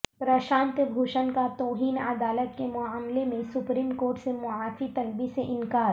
پرشانت بھوشن کا توہین عدالت کے معاملے میں سپریم کورٹ سے معافی طلبی سے انکار